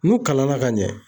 N'u kalan na ka ɲɛ